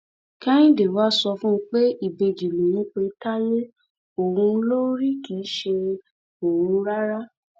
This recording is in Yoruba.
kẹhìndé wàá sọ fún un pé ìbejì lòun pe táyé òun ló rí kì í ṣe òun rárá